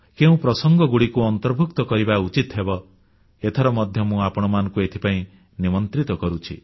କେଉଁ ପ୍ରସଙ୍ଗଗୁଡ଼ିକୁ ଅନ୍ତର୍ଭୁକ୍ତ କରିବା ଉଚିତ ହେବ ଏଥର ମଧ୍ୟ ମୁଁ ଆପଣମାନଙ୍କୁ ଏଥିପାଇଁ ନିମନ୍ତ୍ରିତ କରୁଛି